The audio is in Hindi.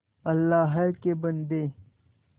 अल्लाह के बन्दे